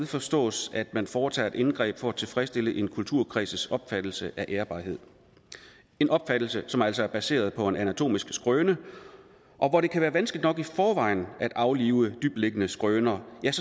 forstås at man foretager et indgreb for at tilfredsstille en kulturkreds opfattelse af ærbarhed en opfattelse som altså er baseret på en anatomisk skrøne og hvor det kan være vanskeligt nok i forvejen at aflive dybtliggende skrøner